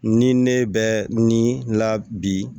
Ni ne bɛ ni la bi